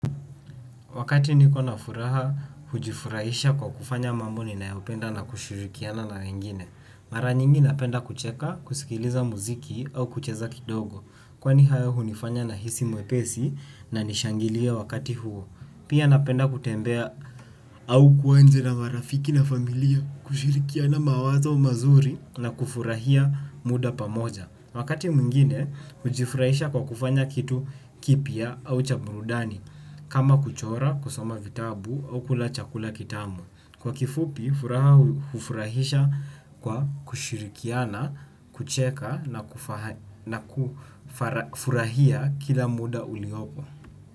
Wakati ni kona furaha, hujifurahisha kwa kufanya mambo ni nayopenda na kushirikiana na wengine. Mara nyingi napenda kucheka, kusikiliza muziki au kucheza kidogo. Kwani hayo hunifanya na hisi mwepesi na nishangilie wakati huo. Pia napenda kutembea au kuwa nje na marafiki na familia kushirikiana mawazo mazuri na kufurahia muda pamoja. Wakati mwingine, hujifurahisha kwa kufanya kitu kipya au cha burudani. Kama kuchora kusoma vitabu au kula chakula kitamu kwa kifupi, furaha hufurahisha kwa kushirikiana, kucheka na kufurahia kila muda uliopo.